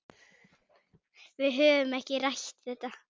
Við höfum ekki rætt þetta.